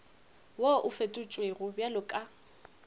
wo o fetotšwego bjalo ka